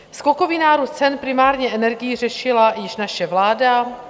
Skokový nárůst cen, primárně energií, řešila už naše vláda.